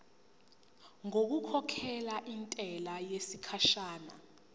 ngokukhokhela intela yesikhashana